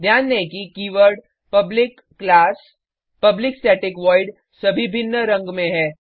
ध्यान दें कि keyword public class public static void सभी भिन्न रंग में है